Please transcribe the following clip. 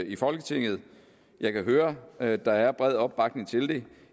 i folketinget jeg kan høre at der er bred opbakning til det